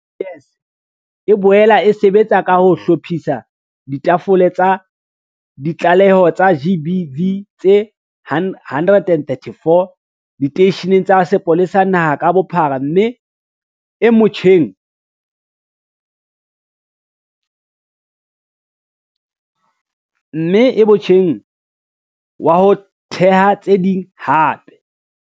SAPS e boela e sebetsa ka ho hlophisa ditafole tsa ditlaleho tsa GBV tse 134 diteisheneng tsa sepolesa naha ka bophara mme e motjheng wa ho theha tse ding hape.